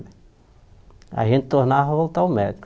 Aí a gente tornava voltar ao médico.